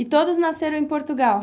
E todos nasceram em Portugal?